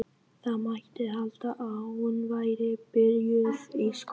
Það mætti halda að hún væri byrjuð í skóla.